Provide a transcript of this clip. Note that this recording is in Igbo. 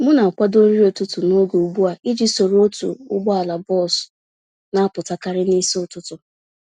M na-akwado nri ụtụtụ n'oge ugbu a iji soro otu ụgbọala bọs napụta karị n'isi ụtụtụ